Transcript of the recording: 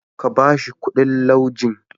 Ka ba shi ƙuɗin laujen.